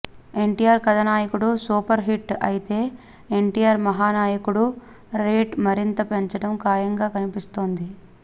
NTR Kathanayakudu super hit అయితే NTR Mahanayakudu rate మరింతగా పెంచడం ఖాయంగా కనిపిస్తోంది